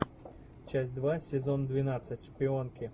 часть два сезон двенадцать шпионки